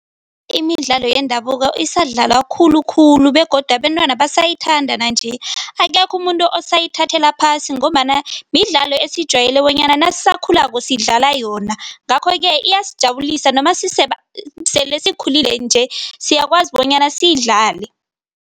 Imidlalo yendabuko isadlalwa khulukhulu begodu abentwana basayithanda nanje. Akekho umuntu osayithathela phasi ngombana midlalo esijwayele bonyana nasisakhulako sidlala yona ngakho-ke iyasijabulisa noma sele sikhulile nje siyakwazi bonyana siyidlale.